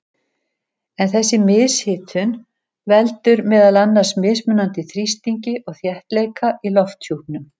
En þessi mishitun veldur meðal annars mismunandi þrýstingi og þéttleika í lofthjúpnum.